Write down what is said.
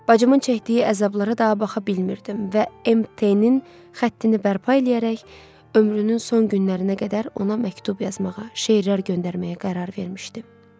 Bacımın çəkdiyi əzablara daha baxa bilmirdim və MT-nin xəttini bərpa eləyərək ömrünün son günlərinə qədər ona məktub yazmağa, şeirlər göndərməyə qərar vermişdim.